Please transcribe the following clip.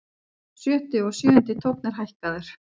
Sjötti og sjöundi tónn er hækkaður.